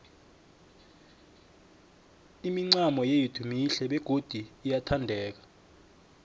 imincamo yethu mihle begodu iyathandeka